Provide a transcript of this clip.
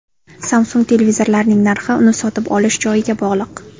Samsung televizorlarining narxi uni sotib olish joyiga bog‘liq.